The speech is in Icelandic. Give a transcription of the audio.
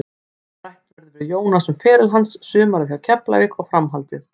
Rætt verður við Jónas um feril hans, sumarið hjá Keflavík og framhaldið.